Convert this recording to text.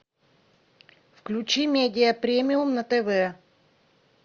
включи медиа премиум на тв